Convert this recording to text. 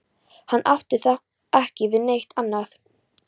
Hann átti þá ekki við neitt annað.